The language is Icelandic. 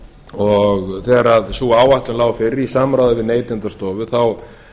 og þegar sú áætlun lá fyrir í samráði við neytendastofu þá